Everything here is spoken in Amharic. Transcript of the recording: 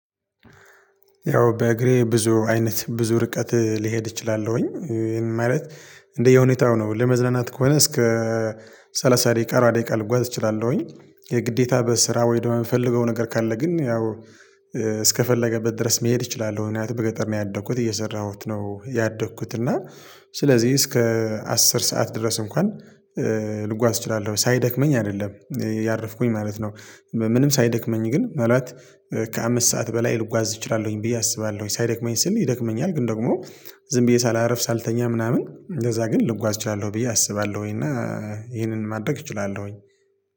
ያው በእግሬ ብዙ አይነት ብዙ ርቀት ልሄድ እችላለሁኝ ማለት እንደ እንደየሁኔታው ነው ለመዝናናት ከሆነ እስከ ሰላሳ ደቂቃ አርባ ደቂቃ ልጓዝ እችላለሁኝ። የግዴታ በስራ ወይ ደግሞ የምፈልገው ነገር ካለ ግን ያው እስከፈለገበት ድረስ መሄድ እችላለሁ። ምክንያቱም እና በገጠር ነው ያደኩት እየሰራሁት ነው ያደኩት እና ስለዚህ እስከ አስር ሰዓት ድረስ እንኳን ልጓዝ እችላለሁ ሳይደክመኝ አይደለም እያረፍኩኝ ማለት ነው። ምንም ሳይደክመኝ ግን ማለት ከአምስት ሰዓት በላይ ልጓዝ እችላለሁኝ ብዬ አስባለሁኝ ሳይደክመኝ ስል ይደክመኛል። ግን ደግሞ ዝም ብዬ ሳላርፍ ሳልተኛ ምናምን እንደዛ ግን ልጓዝ እችላለሁ ብዬ አስባለሁኝ። እና ይሄንን ማድረግ እችላለሁኝ